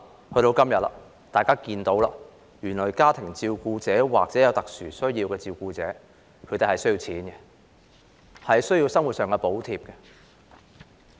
到了今天，大家看到，原來家庭照顧者或有特殊需要人士的照顧者需要金錢，需要生活上的補貼。